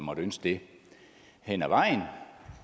måtte ønske det hen ad vejen